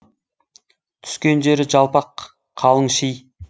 түскен жері жалпақ қалың ши